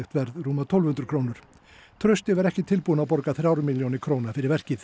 verð rúmar tólf hundruð krónur trausti var ekki tilbúinn að borga þrjár milljónir króna fyrir verkið